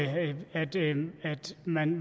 man